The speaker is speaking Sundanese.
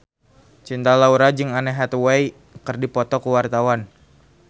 Cinta Laura jeung Anne Hathaway keur dipoto ku wartawan